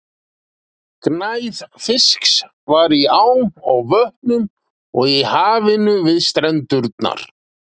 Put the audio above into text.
Gnægð fisks var í ám og vötnum og í hafinu við strendurnar.